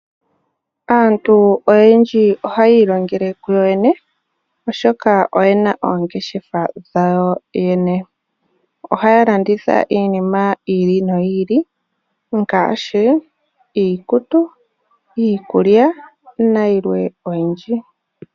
Aantu oyendji ohayi ilongele ku yoyene, oshoka oyena oongeshefa dhawo yene. Ohaya landitha iinima yi ili noyi ili ngaashi iikutu, iikulya nayilwe oyindji.